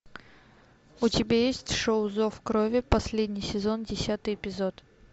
у тебя есть шоу зов крови последний сезон десятый эпизод